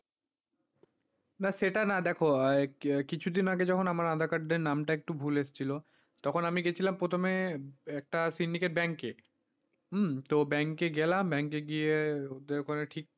না সেটা না দেখো কিছুদিন আগে যখন আমার aadhaar card টা নামটা একটু ভুল এসছিল তখন আমি গেছিলাম প্রথমে একটা সিন্ডিকেট ব্যাঙ্কে, তো ব্যাংকে গেলাম ব্যাংকে গিয়ে ওদের ওখানে ঠিক,